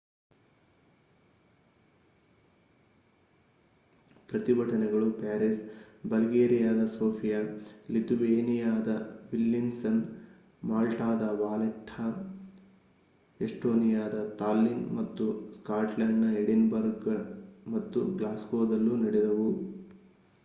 ಪ್ರತಿಭಟನೆಗಳು ಪ್ಯಾರಿಸ್‌ ಬಲ್ಗೇರಿಯಾದ ಸೋಫಿಯಾ ಲಿಥುವೇನಿಯಾದ ವಿಲ್ನಿಯಸ್‌ ಮಾಲ್ಟಾದ ವಾಲೆಟ್ಟಾ ಎಸ್ಟೋನಿಯಾದ ತಾಲ್ಲಿನ್‌ ಮತ್ತು ಸ್ಕಾಟ್ಲೆಂಡ್‌ನ ಎಡಿನ್‌ಬರ್ಗ್‌ ಮತ್ತು ಗ್ಲಾಸ್ಗೋದಲ್ಲೂ ನಡೆದವು